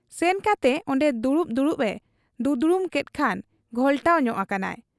ᱥᱮᱱᱠᱟᱛᱮ ᱚᱱᱰᱮ ᱫᱩᱲᱩᱵ ᱫᱩᱲᱩᱵ ᱮ ᱫᱩᱫᱽᱲᱩᱢ ᱠᱮᱫ ᱠᱷᱟᱱ ᱜᱷᱚᱞᱴᱟᱣ ᱧᱚᱜ ᱟᱠᱟᱱᱟᱭ ᱾